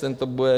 Ten to bude...